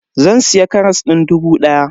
Zan siya karas din dubu daya.